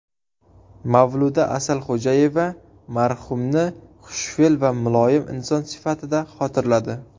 Mavluda Asalxo‘jayeva marhumni xushfe’l va muloyim inson sifatida xotirladi.